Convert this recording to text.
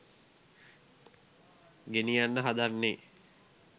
ගෙනියන්න හදන්නේ